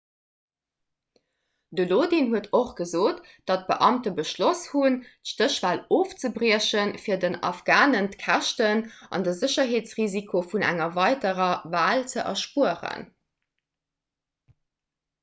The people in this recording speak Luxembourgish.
de lodin huet och gesot datt d'beamte beschloss hunn d'stéchwal ofzebriechen fir den afghanen d'käschten an de sécherheetsrisiko vun enger weiderer wal ze erspueren